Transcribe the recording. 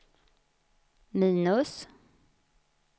minus